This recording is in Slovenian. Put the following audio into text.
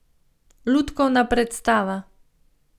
Lutkovna predstava.